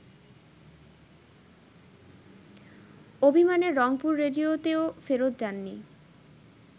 অভিমানে রংপুর রেডিওতেও ফেরত যাননি